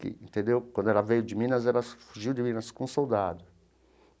Que entendeu, quando ela veio de Minas, ela fugiu de Minas com um soldado.